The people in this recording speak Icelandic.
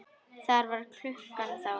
Hvað var klukkan þá?